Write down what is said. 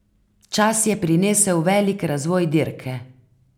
Čas je prinesel velik razvoj dirke.